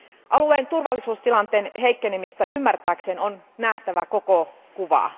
Alueen turvallisuustilanteen heikkenemistä ymmärtääkseen on nähtävä koko kuva.